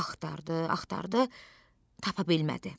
Axtardı, axtardı, tapa bilmədi.